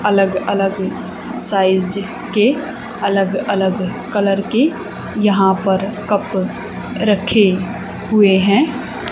अलग अलग साइज के अलग अलग कलर के यहां पर कप रखे हुए है।